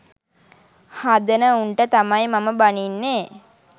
හදන උන්ට තමයි මම බනින්නේ